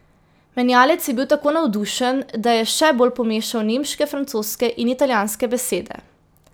Menjalec je bil tako navdušen, da je še bolj pomešal nemške, francoske in italijanske besede.